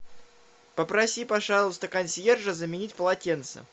попроси пожалуйста консьержа заменить полотенца